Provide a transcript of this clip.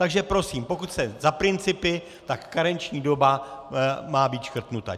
Takže prosím, pokud jsem za principy, tak karenční doba má být škrtnuta.